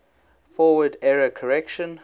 forward error correction